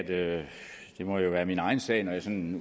at det jo måtte være min egen sag når jeg sådan